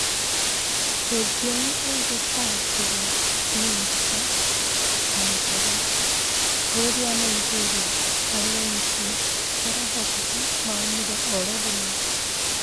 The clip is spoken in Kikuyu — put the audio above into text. Rũthiomi ũngĩtaũkĩrwo nĩ mbicha, na michoro Bũrũri wa Nigeria aregenyoki kũrehokeka maumire oro rĩmwe